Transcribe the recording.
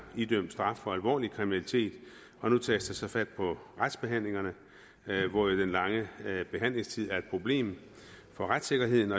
idømt straf for alvorlig kriminalitet og nu tages der så fat på retsbehandlingerne hvor den lange sagsbehandlingstid jo er et problem for retssikkerheden